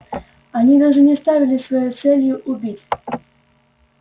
они даже не ставили своей целью убить